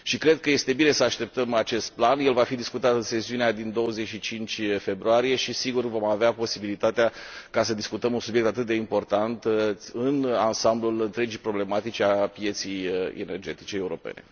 Și cred că este bine să așteptăm acest plan, el va fi discutat în sesiunea din 25 februarie și sigur vom avea posibilitatea să discutăm un subiect atât de important în ansamblul întregii problematici a pieței energetice europene.